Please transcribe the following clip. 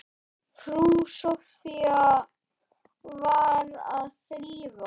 Frú Soffía var að þrífa.